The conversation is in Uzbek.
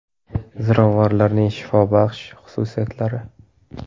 Ziravorlarning shifobaxsh xususiyatlari.